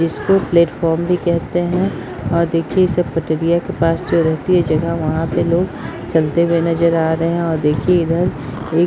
इसको प्लेटफार्म भी केहते हैंऔर देखिए इसे पटरीयां के पास जो रहती है जगह वहां पे लोग चलते हुए नजर आ रहे हैंऔर देखिए इधर एक --